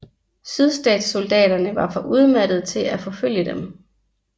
Sydstatssoldaterne var for udmattede til at forfølge dem